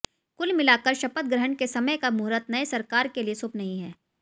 कुल मिलाकर शपथ ग्रहण के समय का मुहूर्त नए सरकार के लिए शुभ नहीं है